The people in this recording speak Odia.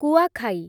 କୁଆଖାଇ